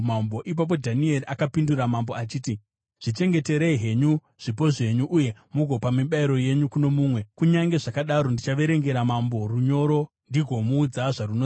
Ipapo Dhanieri akapindura mambo achiti, “Zvichengeterei henyu zvipo zvenyu uye mugopa mibayiro yenyu kuno mumwe. Kunyange zvakadaro, ndichaverengera mambo runyoro ndigomuudza zvarunoreva.”